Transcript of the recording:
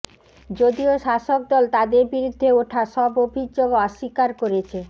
যদিও শাসক দল তাদের বিরুদ্ধে ওঠা সব অভিযোগ অস্বীকার করেছে